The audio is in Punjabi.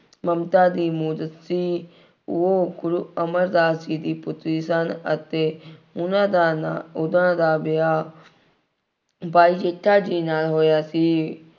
ਮਮਤਾ ਦੀ ਮੂਰਤ ਸੀ। ਉਹ ਗੁਰੂ ਅਮਰਦਾਸ ਜੀ ਦੀ ਪੁੱਤਰੀ ਸਨ ਅਤੇ ਉਹਨਾ ਦਾ ਨਾਂ, ਉਹਨਾ ਦਾ ਵਿਆਹ ਭਾਈ ਜੇਠਾ ਜੀ ਨਾਲ ਹੋਇਆ ਸੀ।